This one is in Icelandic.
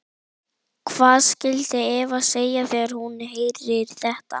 Hvað skyldi Eva segja þegar hún heyrir þetta?